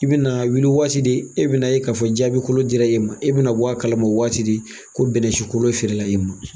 I bɛna wuli waati de, e bina ye k'a fɔ jaabi kolo dira i ma, e bɛna bɔ a kalama waati de, ko bɛnnɛsikolo feerela i ma.